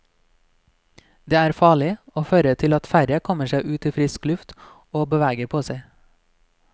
Det er farlig, og fører til at færre kommer seg ut i frisk luft og beveger på seg.